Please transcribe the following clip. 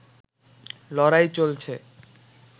লড়াই চলছে